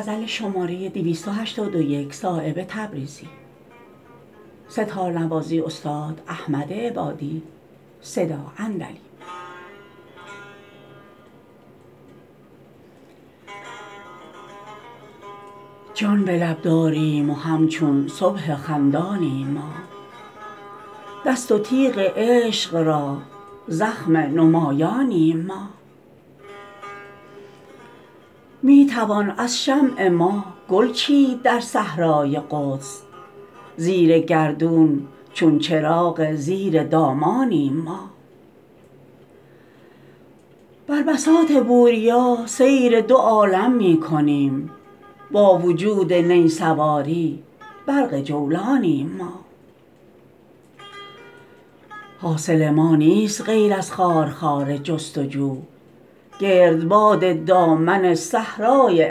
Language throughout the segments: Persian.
جان به لب داریم و همچون صبح خندانیم ما دست و تیغ عشق را زخم نمایانیم ما می توان از شمع ما گل چید در صحرای قدس زیر گردون چون چراغ زیر دامانیم ما بر بساط بوریا سیر دو عالم می کنیم با وجود نی سواری برق جولانیم ما حاصل ما نیست غیر از خارخار جستجو گردباد دامن صحرای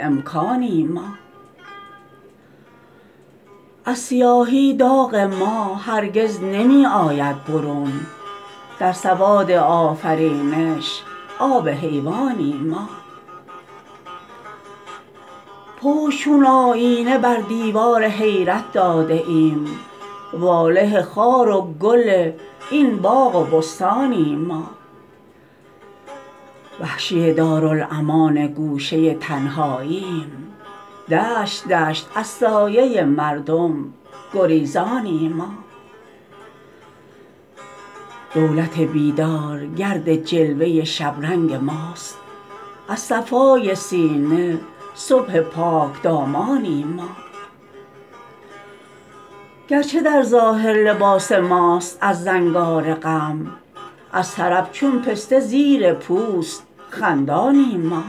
امکانیم ما از سیاهی داغ ما هرگز نمی آید برون در سواد آفرینش آب حیوانیم ما پشت چون آیینه بر دیوار حیرت داده ایم واله خار و گل این باغ و بستانیم ما وحشی دارالامان گوشه تنهایی ایم دشت دشت از سایه مردم گریزانیم ما دولت بیدار گرد جلوه شبرنگ ماست از صفای سینه صبح پاکدامانیم ما گرچه در ظاهر لباس ماست از زنگار غم از طرب چون پسته زیر پوست خندانیم ما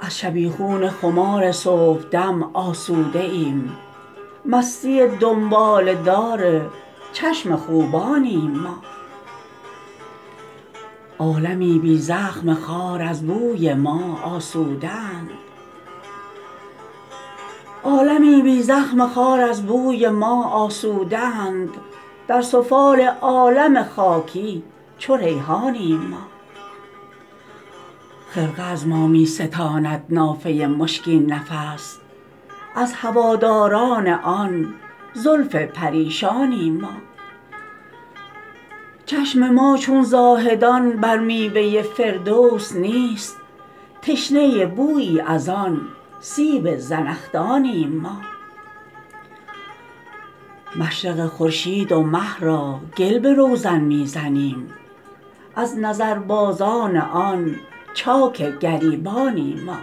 از شبیخون خمار صبحدم آسوده ایم مستی دنباله دار چشم خوبانیم ما عالمی بی زخم خار از بوی ما آسوده اند در سفال عالم خاکی چو ریحانیم ما خرقه از ما می ستاند نافه مشکین نفس از هواداران آن زلف پریشانیم ما چشم ما چون زاهدان بر میوه فردوس نیست تشنه بویی ازان سیب زنخدانیم ما مشرق خورشید و مه را گل به روزن می زنیم از نظربازان آن چاک گریبانیم ما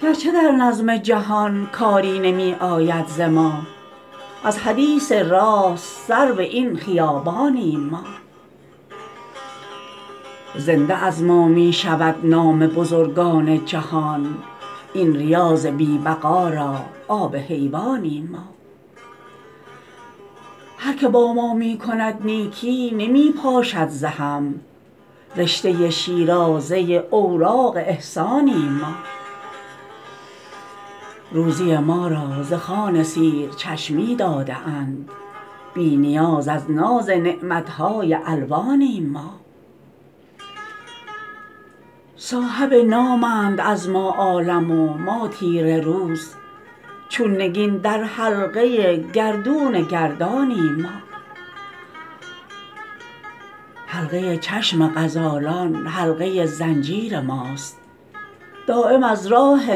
گرچه در نظم جهان کاری نمی آید ز ما از حدیث راست سرو این خیابانیم ما زنده از ما می شود نام بزرگان جهان این ریاض بی بقا را آب حیوانیم ما هر که با ما می کند نیکی نمی پاشد ز هم رشته شیرازه اوراق احسانیم ما روزی ما را ز خوان سیر چشمی داده اند بی نیاز از ناز نعمت های الوانیم ما صاحب نامند از ما عالم و ما تیره روز چون نگین در حلقه گردون گردانیم ما حلقه چشم غزالان حلقه زنجیر ماست دایم از راه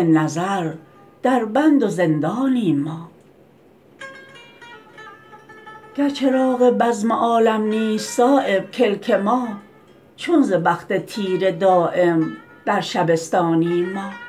نظر دربند و زندانیم ما گر چراغ بزم عالم نیست صایب کلک ما چون ز بخت تیره دایم در شبستانیم ما